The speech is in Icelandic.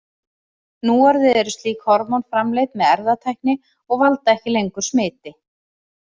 Núorðið eru slík hormón framleidd með erfðatækni og valda ekki lengur smiti.